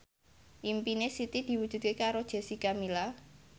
impine Siti diwujudke karo Jessica Milla